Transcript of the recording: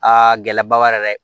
Aa gɛlɛba b'a la dɛ